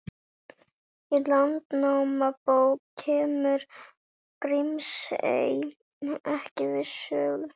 Í Landnámabók kemur Grímsey ekki við sögu.